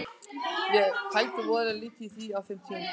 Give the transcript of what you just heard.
Ég pældi voðalega lítið í því á þeim tímapunkti.